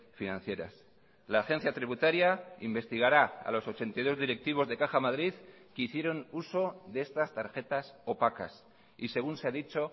financieras la agencia tributaria investigará a los ochenta y dos directivos de caja madrid que hicieron uso de estas tarjetas opacas y según se ha dicho